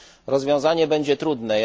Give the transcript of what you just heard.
Rozwiązanie będzie trudne.